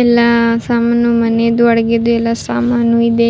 ಎಲ್ಲ ಸಾಮಾನು ಮನೆದು ಅಡುಗೆದು ಎಲ್ಲ ಸಾಮಾನು ಇದೆ